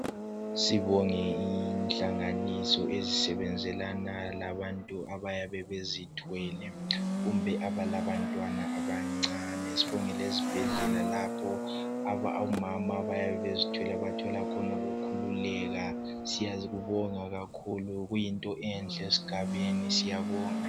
Sibonge inhlanganiso ezisebenzelana labantu abayabe bezithwele kumbe abalabantwana abancane sibonge lezibhedlela lapho omama abayabe bezithwele abathola khona ukukhululeka. Siyakubonga kakhulu kuyinto enhle esigabeni siyabonga.